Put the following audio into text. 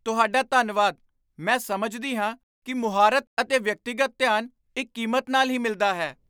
ਤੁਹਾਡਾ ਧੰਨਵਾਦ! ਮੈਂ ਸਮਝਦੀ ਹਾਂ ਕਿ ਮੁਹਾਰਤ ਅਤੇ ਵਿਅਕਤੀਗਤ ਧਿਆਨ ਇੱਕ ਕੀਮਤ ਨਾਲ ਹੀ ਮਿਲਦਾ ਹੈ।